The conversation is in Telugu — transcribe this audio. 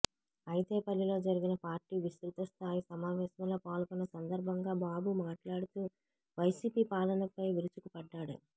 ఐతేపల్లిలో జరిగిన పార్టీ విస్తృతస్థాయి సమావేశంలో పాల్గొన్న సందర్భంగా బాబు మాట్లాడుతూ వైసీపీ పాలనపై విరుచుకుపడ్డారు